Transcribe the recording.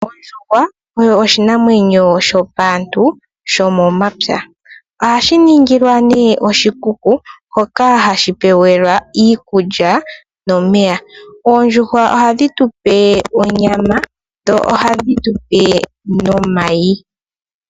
Ondjuhwa oshinamwenyo shopaantu shomomapya ohashi ningilwa nee oshikuku hoka hashi pewelwa iikulya nomeya .Oondjuhwa ohadhi tupe onyama dho ohadhi tupe nomayi.